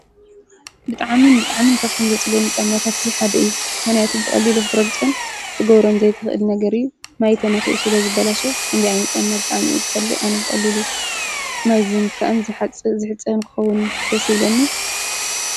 ብጥዓምን ብጥዓምን ከፍቶም ዘጽለኒ ጨማታት እዚሓደ እዩ ሆነያቱ ብቕሊሉ ኽትረግፁን እቲጐብሮን ዘይትኽእል ነገር እዩ ማይ ተናኽኡ ስለ ዝበላሸው ኲንዲኣይኒ ጨመ ኣብ ብጣዓሚ ይጸሊእ። ኣነ ብቕሊሉ ማይ ዝንከዐን ዘሓጽ ዝሕፅን ክኸዉን ደሲለ።